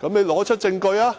他們提出證據。